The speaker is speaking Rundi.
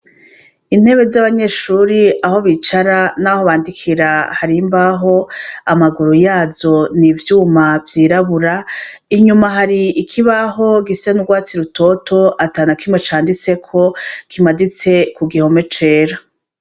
Intebe z'abanyeshure aho bicara naho bandikira hari imbaho amaguru yazo n'ivyuma vyirabura inyuma hari ikibaho gisa n'urwatsi rutoto atanakimwe canditseko kimaditse ku gihome cera.